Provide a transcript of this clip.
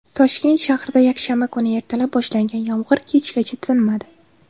Toshkent shahrida yakshanba kuni ertalab boshlangan yomg‘ir kechgacha tinmadi.